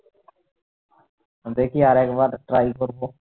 দেখি আর একবার try করবো